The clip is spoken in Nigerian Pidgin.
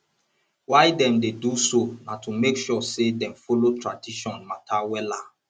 why dem dey do so na to make sure say dem follow tradition mata wella